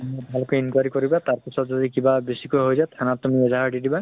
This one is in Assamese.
ভাল কে enquiry কৰিবা । তাৰ পিছত যদি কিবা বেছি কৈ হয় যায়, ঠানা ত তুমি এজাহাৰ দি দিবা।